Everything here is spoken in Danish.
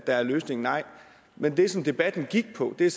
er løsningen nej men det som debatten gik på er